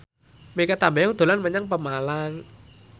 Mikha Tambayong dolan menyang Pemalang